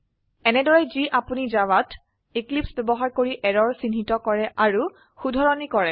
এনেদৰে যি আপোনি জাভাত এক্লিপছে ব্যবহাৰ কৰি এৰৰ চিহ্নিত কৰে আৰু শুধৰনি কৰে